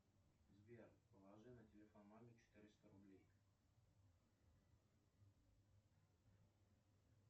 сбер положи на телефон маме четыреста рублей